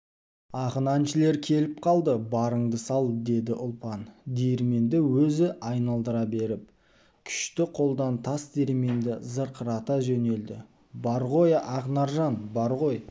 ақын-әншілер келіп қалды барыңды сал деді ұлпан диірменді өзі айналдыра беріп күшті қолдар тас диірменді зырқырата жөнелді бар ғой ақнаржан бар ғой